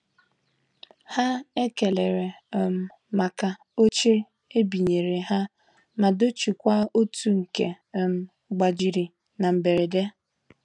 Ha ekelere um maka oche ebinyere ha ma dochie kwa otu nke um gbajiri na mberede.